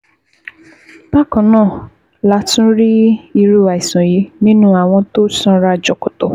Bákan náà la tún rí irú àìsàn yìí nínú àwọn tó sanra jọ̀kọ̀tọ̀